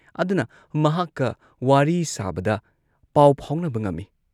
ꯑꯗꯨꯅ ꯃꯍꯥꯛꯀ ꯋꯥꯔꯤ ꯁꯥꯕꯗ ꯄꯥꯎ ꯐꯥꯎꯅꯕ ꯉꯝꯏ ꯫